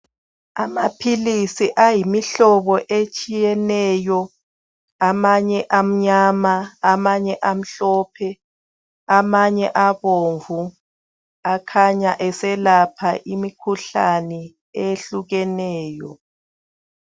Amaphilisi ayimihlobo etshiyeneyo amanye amnyama amanye amhlophe amanye abomvu akhanya eselapha imikhuhlane eyehlukeneyo.